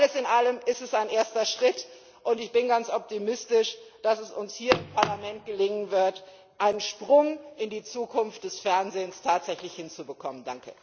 Alles in allem Es ist ein erster Schritt, und ich bin ganz optimistisch, dass es uns hier im Parlament gelingen wird, einen Sprung in die Zukunft des Fernsehens tatsächlich hinzubekommen.